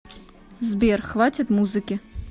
сбер хватит музыки